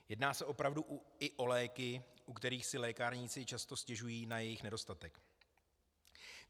Jedná se opravdu i o léky, u kterých si lékárníci často stěžují na jejich nedostatek.